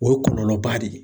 O ye kɔlɔlɔba de ye.